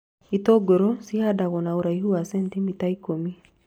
Itũngũrũ cihandagwo na ũraihu wa cenitimita ikũmi